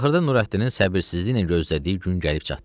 Axırda Nurəddinin səbirsizliklə gözlədiyi gün gəlib çatdı.